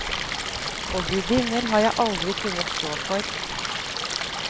Og gudinner har jeg aldri kunnet stå for.